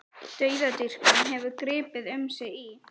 Dauðadýrkun hefur gripið um sig í